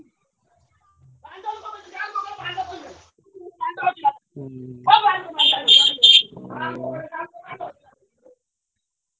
bgspeech